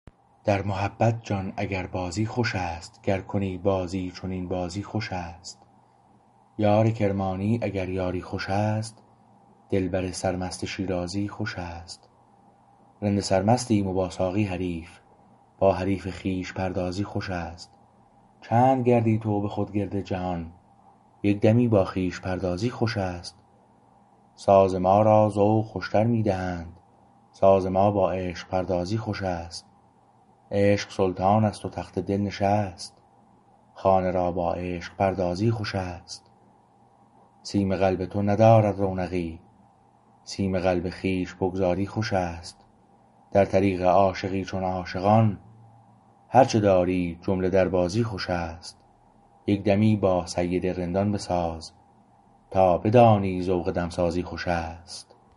در محبت جان اگر بازی خوش است گر کنی بازی چنین بازی خوشست یار کرمانی اگر بازی خوش است دلبر سرمست شیرازی خوشست رند سر مستیم و با ساقی حریف با حریف خویش پردازی خوشست چند گردی تو به خود گرد جهان یک دمی با خویش پردازی خوشست ساز ما را ذوق خوشتر می دهند ساز ما با عشق پردازی خوشست عشق سلطان است و تخت دل نشست خانه را با عشق پردازی خوشست سیم قلب تو ندارد رونقی سیم قلب خویش بگذاری خوشست در طریق عاشقی چون عاشقان هرچه داری جمله دربازی خوشست یک دمی با سید رندان بساز تا بدانی ذوق دمسازی خوشست